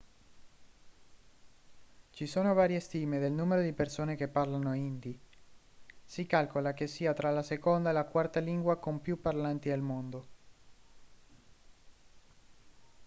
ci sono varie stime del numero di persone che parlano hindi si calcola che sia tra la seconda e la quarta lingua con più parlanti al mondo